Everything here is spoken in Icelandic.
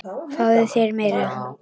Fáðu þér meira!